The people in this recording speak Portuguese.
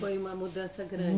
Foi uma mudança grande.